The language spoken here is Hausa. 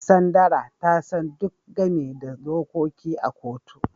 Sandra ta san duk game da dokoki a kotu.